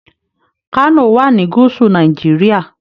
Kano wà ní gúúsù Nàìjíríà.